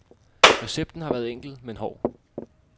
Recepten har været enkel, men hård.